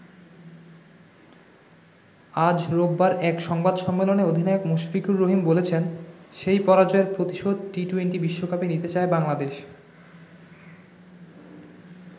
আজ রোববার এক সংবাদ সম্মেলনে অধিনায়ক মুশফিকুর রহিম বলেছেন, সেই পরাজয়ের প্রতিশোধ টি-২০ বিশ্বকাপে নিতে চায় বাংলাদেশ।